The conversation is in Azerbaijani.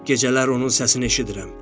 Gecələr onun səsini eşidirəm.